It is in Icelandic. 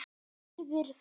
Virðir þá.